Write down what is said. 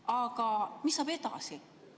Aga mis saab edasi?